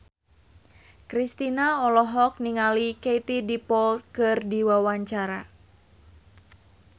Kristina olohok ningali Katie Dippold keur diwawancara